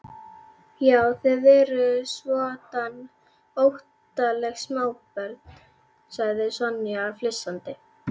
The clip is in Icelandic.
Já, þið eruð svoddan óttaleg smábörn sagði Sonja flissandi.